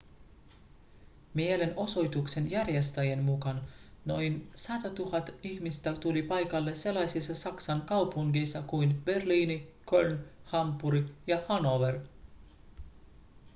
mielenosoituksen järjestäjien mukaan noin 100 000 ihmistä tuli paikalle sellaisissa saksan kaupungeissa kuin berliini köln hampuri ja hannover